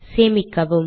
சேமிக்கவும்